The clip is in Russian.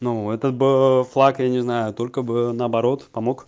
ну это бы флаг я не знаю только бы наоборот помог